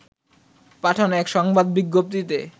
পাঠানো এক সংবাদ বিজ্ঞপ্তিতে